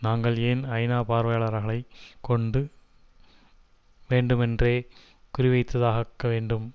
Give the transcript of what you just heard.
நாங்கள் ஏன் ஐநாபார்வையாளர்களை கொண்டு வேண்டுமென்றே குறிவைத்துத்தாக்க வேண்டும்